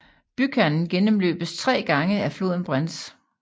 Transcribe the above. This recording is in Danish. Bykernen gennmløbes af tre grene af floden Brenz